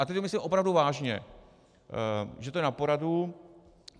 A teď to myslím opravdu vážně, že to je na poradu.